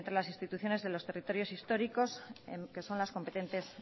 las instituciones de los territorios históricos que son las competentes